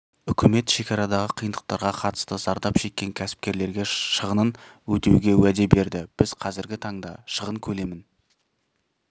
үкімет шекарадағы қиындықтарға қатысты зардап шеккен кәсіпкерлерге шығынын өтеуге уәде берді біз қазіргі таңда шығын көлемін